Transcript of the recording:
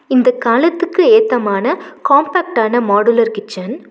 இந்த காலத்துக்கு ஏத்தமான காம்பேக்ட்டான மாடுலர் கிச்சன் .